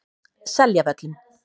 Seljavöllum